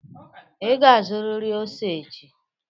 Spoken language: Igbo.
Ị ga-azụrịrị ose echi!